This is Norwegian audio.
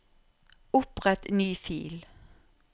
Opprett ny fil